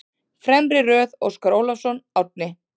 Fremri röð: Óskar Ólafsson, Árni